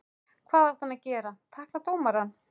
Hvað átti hann að gera, tækla dómarann?